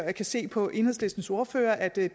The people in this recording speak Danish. jeg kan se på enhedslistens ordfører at det